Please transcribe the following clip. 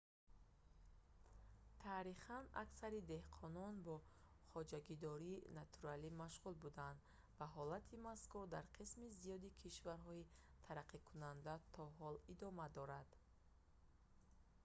таърихан аксари деҳқонон бо хоҷагидории натуралӣ машғул буданд ва ҳолати мазкур дар қисми зиёди кишварҳои тараққикунанда то ҳол идома дорад